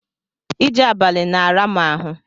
Ije abali na-ara mu ahu